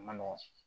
A ma nɔgɔn